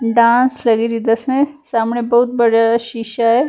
Dance ਲੱਗ ਰਹੀ ਆ ਸਾਹਮਣੇ ਬਹੁਤ ਵੱਡਾ ਜਾ ਸ਼ੀਸ਼ਾ ਹੈ।